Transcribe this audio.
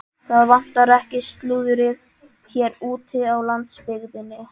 Það vantar ekki slúðrið hér úti á landsbyggðinni sagði